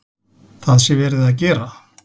Það sé verið að gera.